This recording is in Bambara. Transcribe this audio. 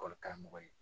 Ekɔli karamɔgɔ ye